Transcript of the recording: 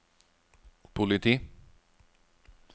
politi